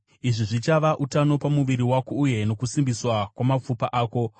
Izvi zvichava utano pamuviri wako uye nokusimbiswa kwamapfupa ako.